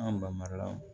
An ba mariyamu